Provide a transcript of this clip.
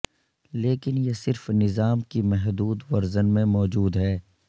لیکن یہ صرف نظام کی محدود ورژن میں موجود ہے